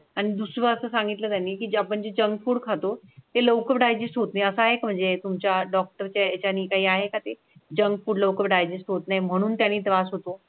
दुसऱ्या असं सांगितलं त्यानी की आपण जंक फुड खातो ते लवकर डायजेस्ट होत नाही असं म्हणजे तुमच्या डॉक्टर त्यांनी काही आहे का? ते जंक फुड लवकर डायजेस्ट होत नाही म्हणून त्यांनी जमा होतो.